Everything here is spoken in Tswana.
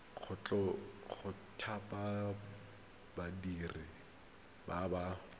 go thapa badiri ba ba